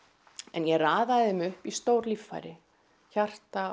en ég raða þeim upp í stór líffæri hjarta